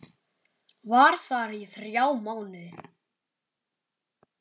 Var þar í þrjá mánuði.